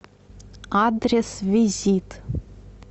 адрес визит